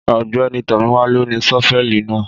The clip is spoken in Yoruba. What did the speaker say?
Ọgbẹni Tọmiwa lo ní ṣọfẹli nà.